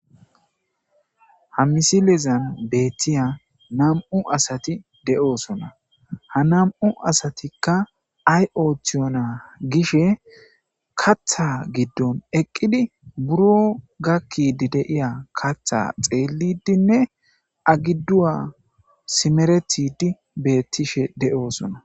Ha misilezan beetiya nam'u asati de'osonna; ha nam'u asatikka ay ooththiyona gishin kaaththa giddon eqqidi buro gakkidi de'iya kaaththa xeelidinne a giduwa simeretidi beetishe de'osonna.